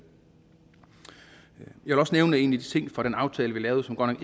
også nævne en af de ting fra den aftale vi lavede som godt